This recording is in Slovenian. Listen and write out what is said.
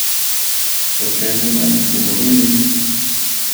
O čem bi naj tu govorili?